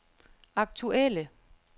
aktuelle